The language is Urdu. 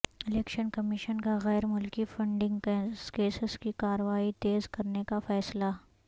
الیکشن کمیشن کا غیر ملکی فنڈنگ کیسز کی کارروائی تیز کرنے کا فیصلہ